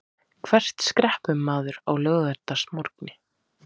Hvert skreppur maður á laugardagsmorgni?